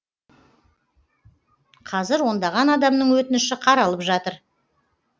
қазір ондаған адамның өтініші қаралып жатыр